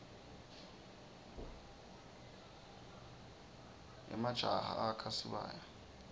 emajaha akha sibaya